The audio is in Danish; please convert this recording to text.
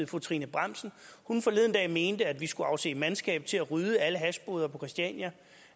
fru trine bramsen forleden dag mente at vi skulle afse mandskab til at rydde alle hashboder på christiania